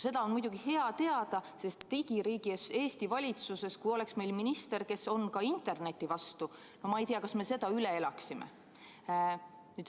Seda on muidugi hea teada, sest kui digiriik Eesti valitsuses oleks minister, kes on ka interneti vastu – ma ei tea, kas me selle üle elaksime.